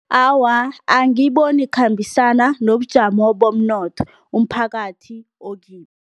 Awa, angiyiboni ikhambisana nobujamo bomnotho umphakathi okibo.